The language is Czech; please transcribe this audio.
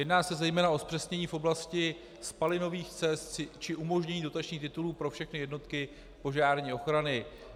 Jedná se zejména o zpřesnění v oblasti spalinových cest či umožnění dotačních titulů pro všechny jednotky požární ochrany.